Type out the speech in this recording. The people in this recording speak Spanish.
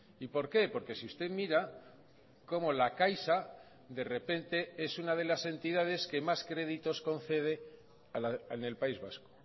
y por qué porque si usted mira cómo la caixa de repente es una de las entidades que más créditos concede en el país vasco